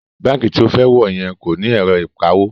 Báǹkì tí o fẹ́ wọ̀ yẹn kò ní ẹ̀rọ ìkawó